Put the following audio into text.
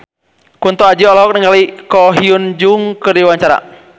Kunto Aji olohok ningali Ko Hyun Jung keur diwawancara